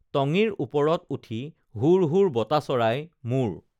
টঙিৰ ওপৰত উঠি হুৰ হুৰ বতা চৰাই মোৰ